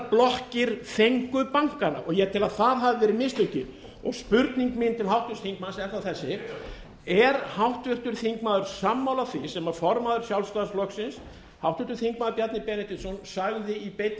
blokkir fengu bankana og ég tel að það hafi verið mistökin spurning mín til háttvirts þingmanns er þá þessi er háttvirtur þingmaður sammála því sem formaður sjálfstæðisflokksins háttvirtur þingmaður bjarni benediktsson sagði í beinni